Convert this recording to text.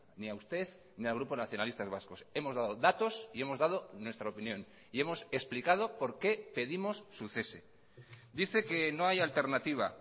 ni a usted ni al grupo nacionalistas vascos hemos dado datos y hemos dado nuestra opinión y hemos explicado por qué pedimos su cese dice que no hay alternativa